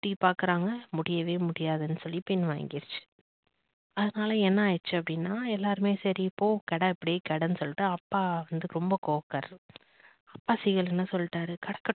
திட்டியும் பாக்குறாங்க முடியவே முடியாதுன்னு சொல்லிட்டு பின் வாங்கிருச்சு அதனால என்ன ஆயிடுச்சு அப்படின்னா எல்லாருமே சரி போ கிட அப்பிடியே கிடன்னு சொல்லிட்டு அப்பா வந்து ரொம்ப கோவக்காரர் அப்பா seegal என்ன சொல்லிட்டாரு கடக்கட்டும்